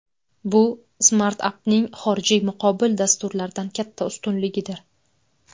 Bu Smartup’ning xorijiy muqobil dasturlardan katta ustunligidir.